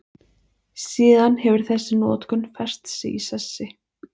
Síðan hefur þessi notkun fest sig í sessi.